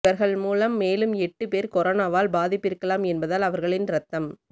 இவர்கள் மூலம் மேலும் எட்டு பேர் கொரோனாவால் பாதிப்பிருக்கலாம் என்பதால் அவர்களின் ரத்தம்